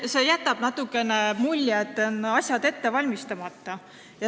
See jätab natukene sellise mulje, et asjad on ette valmistamata.